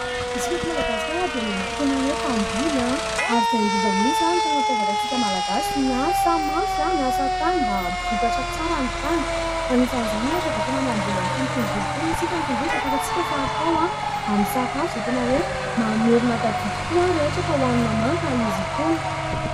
Isika eto Madagasikara dia tena hoe mpamboly ary izay indrindra mihitsy ny tena mampiavaka antsika Malagasy. Miasa mafy, miasa tany mba ampy vokatra tsara ny tany. Anisan'izany ohatra dia tena mamboly an'itony tongolo itony isika. Ny tongolo dia efa fantatsika fa atao amin'ny sakafo izay tena hoe mamerina tadidy koa raha ohatra ka hohanina manta izy itony.